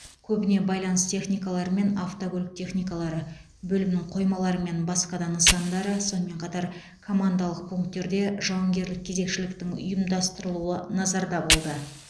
көбіне байланыс техникалары мен автокөлік техникалары бөлімнің қоймалары мен басқа да нысандары сонымен қатар командалық пункттерде жауынгерлік кезекшіліктің ұйымдастырылуы назарда болды